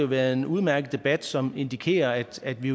været en udmærket debat som indikerer at vi